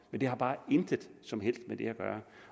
har bare intet som helst med det at gøre